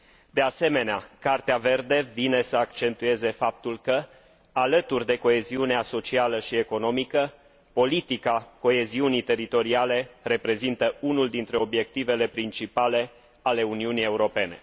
De asemenea, Cartea verde vine să accentueze faptul că, alături de coeziunea socială și economică, politica coeziunii teritoriale reprezintă unul dintre obiectivele principale ale Uniunii Europene.